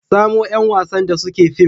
samo yan wasn da suke film